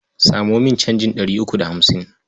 Samo min canjin ɗari uku da hamsin.